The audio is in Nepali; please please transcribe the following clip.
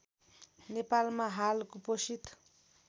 नेपालमा हाल कुपोषित